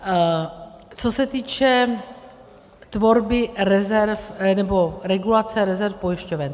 Co se týče tvorby rezerv, nebo regulace rezerv pojišťoven.